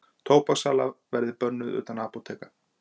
Tóbakssala verði bönnuð utan apóteka